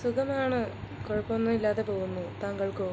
സുഖമാണ് കുഴപ്പമില്ലാതെ പോകുന്നു താങ്കൾക്കോ